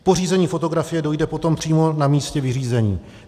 K pořízení fotografie dojde potom přímo na místě vyřízení.